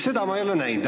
Seda ma ei ole aru saanud.